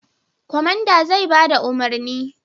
Kwamandan zai ba da umarni.